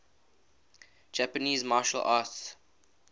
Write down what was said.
japanese martial arts